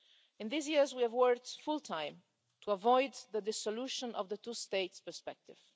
In these years, we have worked full time to avoid the dissolution of the two-states perspective.